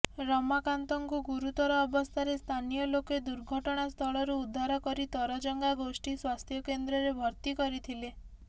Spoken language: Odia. ରମାକାନ୍ତଙ୍କୁ ଗୁରୁତର ଅବସ୍ଥାରେ ସ୍ଥାନୀୟଲୋକେ ଦୁର୍ଘଟଣାସ୍ଥଳରୁ ଉଦ୍ଧାର କରି ତରଜଙ୍ଗା ଗୋଷ୍ଠୀ ସ୍ୱାସ୍ଥ୍ୟକେନ୍ଦ୍ରରେ ଭର୍ତ୍ତି କରିଥିଲେ